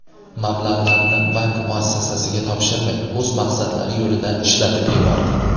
Mablag‘larni bank muassasasiga topshirmay, o‘z maqsadlari yo‘lida ishlatib yubordi.